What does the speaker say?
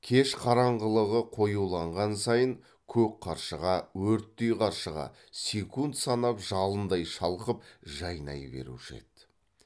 кеш қараңғылығы қоюланған сайын көк қаршыға өрттей қаршыға секунд санап жалындай шалқып жайнай беруші еді